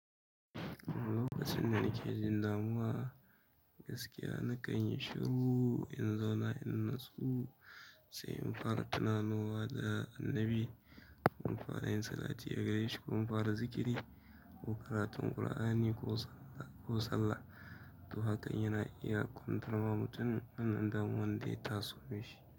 Lokacin da nake jin damuwa, gaskiya na kan yi shiru in zauna in natsu, sai in fara tunanowa da annabi. Mun fara yin salati a gare shi, mu fara zikiri ko karatu Kur'ani ko sallah. To haka in yana iya kwantar wa mutum wannan damuwa ɗaya taso mishi.